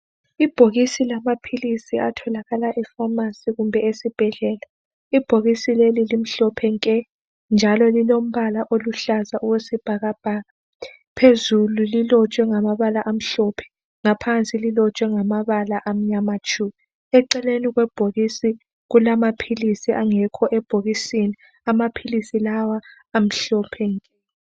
Ibhokisi lamaphilisi atholakala efamasi kumbe esibhedlela. Ibhokisi leli limhlophe nke njalo lilombala oluhlaza okwesibhakabhaka. Phezulu lilotshwe ngamabala amhlophe, ngaphansi lilotshwe ngamabala amnyama tshu. Eceleni kwebhokisi kulamaphilisi angekho ebhokisini. Amaphilisi lawa amhlophe nke.